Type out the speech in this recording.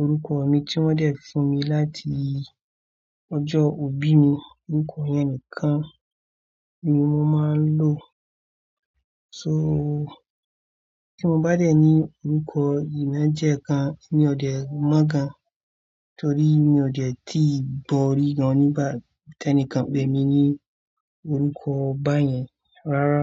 Orúkọ mi tí wọ́n dẹ fún mi láti ọjọ́ ọbí mi, orúkọ yẹn nìkan ni mo máa ń lò. So tí mo bá dẹ̀ ní orúkọ ina íje kan, èmi ò de mọ́ gan-an. Torí mi ò dẹ̀ tí ì gbọ̀ri gan nígbà tí ẹnìkan pè mí ní orúkọ báyẹn rárá.